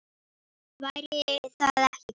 Væri það ekki gaman?